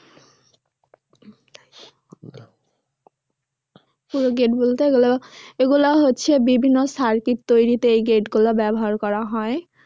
পূরক gate বলতে এগুলো এগুলা হচ্ছে বিভিন্ন circuit তৈরিতে এই gate গুলা ব্যবহার করা হয়।